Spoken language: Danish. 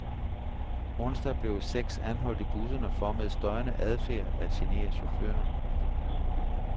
Onsdag blev seks anholdt i busserne for med støjende adfærd at genere chaufføren.